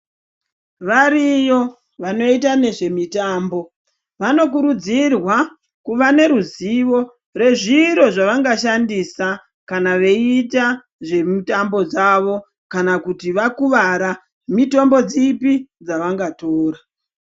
Variyo vanoita nezve mitambo vano kurudzirwa kuva ne ruzivo rwezviro zvavanga shandisa kana veita zve mutambo dzavo kana kuti vakuvara mitombo dzipi dzavanga tora.